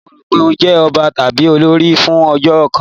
Ro pé ó jẹ́ ọba tàbí olórí fún ọjọ́ kan!